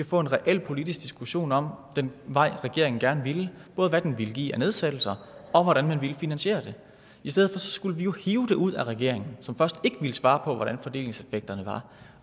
få en reel politisk diskussion om den vej regeringen gerne ville både hvad den ville give af nedsættelser og hvordan man ville finansiere det i stedet for skulle vi jo hive det ud af regeringen som først ikke ville svare på hvordan fordelingseffekterne var